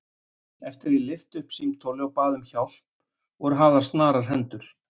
Eftir að ég lyfti upp símtóli og bað um hjálp voru hafðar snarar hendur.